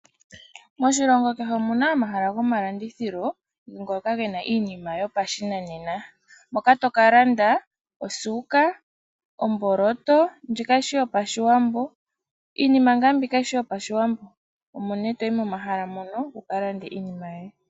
Moshilongo kehe omuna omahala gomalandithilo, ngoka gena iinima yopashinanena. Moka to ka landa osuuka, omboloto, ndji kayishi yopashiwambo. Iinima nga mbi kayishi yopashiwambo, omo ne toyi momahala mono, wu ka lande iinima yoye.